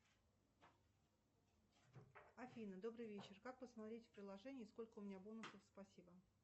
афина добрый вечер как посмотреть в приложении сколько у меня бонусов спасибо